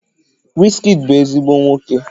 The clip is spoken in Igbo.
Wizkid bu ezigbo nwoke